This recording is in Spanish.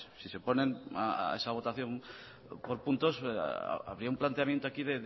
si se oponen a esa votación por puntos habría un planteamiento aquí